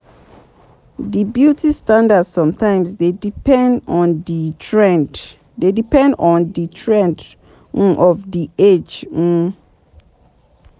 Di beauty standard somtimes dey depend on di trend um of di age um